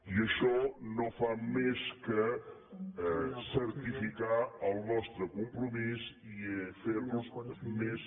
i això no fa més que certificar el nostre compromís i fer nos més